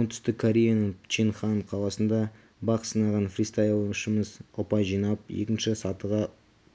оңтүстік кореяның пхенчхан қаласында бақ сынаған фристайлшымыз ұпай жинап екінші сатыға